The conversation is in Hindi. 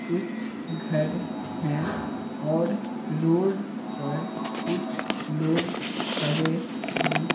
कुछघर हैं औररोड परकुछ लोगखड़े हैं।